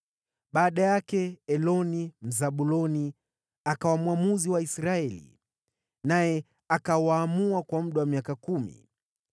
Baada yake Eloni, Mzabuloni, akawa mwamuzi wa Israeli, naye akawaamua kwa muda wa miaka kumi.